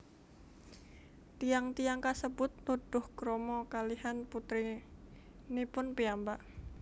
Tiyang tiyang kasebut nuduh krama kalihan putrinipun piyambak